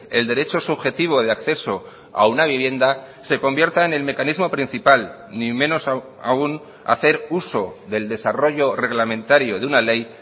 el derecho subjetivo de acceso a una vivienda se convierta en el mecanismo principal ni menos aún hacer uso del desarrollo reglamentario de una ley